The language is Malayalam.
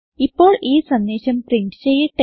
ഇപ്പോൾ ഈ സന്ദേശം പ്രിന്റ് ചെയ്യട്ടെ